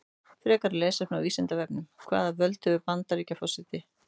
Frekara lesefni á Vísindavefnum: Hvaða völd hefur forseti Bandaríkjanna?